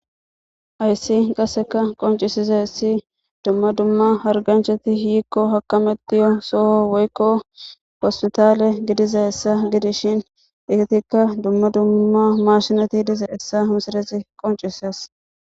Hayssi qassikka qonccisizayssi dumma dumma harganchati yiiko hakametiyo soho woykko hospitale gidizayssa gidizayssa gidishin eetikka dumma dumma maashineti dizayssa qonccisees.